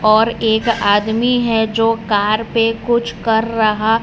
और एक आदमी है जो कार पे कुछ कर रहा--